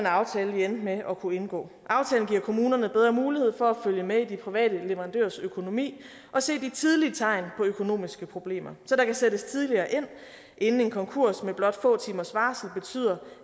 aftale vi endte med at kunne indgå aftalen giver kommunerne bedre mulighed for at følge med i de private leverandørers økonomi og se de tidlige tegn på økonomiske problemer så der kan sættes tidligere ind inden en konkurs med blot få timers varsel betyder